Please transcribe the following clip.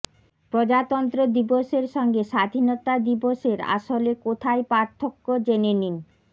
প্রজাতন্ত্র দিবসের সঙ্গে স্বাধীনতা দিবসের আসলে কোথায় পার্থক্য জেনে নিন